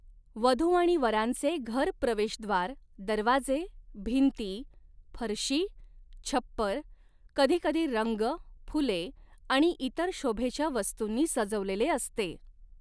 वधू आणि वरांचे घर प्रवेशद्वार, दरवाजे, भिंती, फरशी, छप्पर कधीकधी रंग, फुले आणि इतर शोभेच्या वस्तूंनी सजवलेले असते.